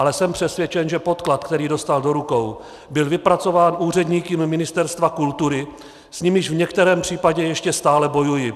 Ale jsem přesvědčen, že podklad, který dostal do rukou, byl vypracován úředníky Ministerstva kultury, s nimiž v některém případě ještě stále bojuji.